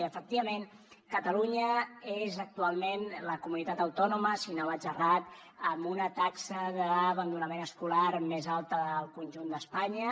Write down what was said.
i efectivament catalunya és actualment la comunitat autònoma si no vaig errat amb una taxa d’abandonament escolar més alta del conjunt d’espanya